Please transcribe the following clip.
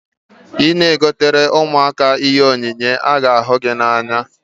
Ị na-egotere ụmụaka ihe onyinye, ha ga ahu gị n'anya